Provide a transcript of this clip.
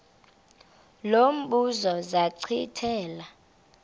lo mbuzo zachithela